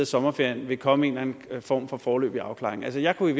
sommerferien vil komme en eller anden form for foreløbig afklaring jeg jeg kunne i